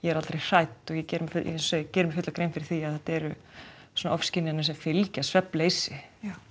er aldrei hrædd ég geri mér geri mér fulla grein fyrir því að þetta eru ofskynjanir sem fylgja svefnleysi